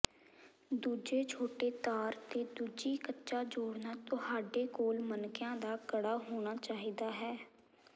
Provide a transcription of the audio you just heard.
ਦੂਜੇ ਛੋਟੇ ਤਾਰ ਤੇ ਦੂਜੀ ਕੱਚਾ ਜੋੜਨਾ ਤੁਹਾਡੇ ਕੋਲ ਮਣਕਿਆਂ ਦਾ ਕੜਾ ਹੋਣਾ ਚਾਹੀਦਾ ਹੈ